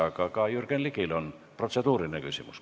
Aga ka Jürgen Ligil on protseduuriline küsimus.